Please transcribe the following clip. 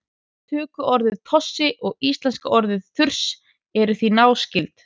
tökuorðið tossi og íslenska orðið þurs eru því náskyld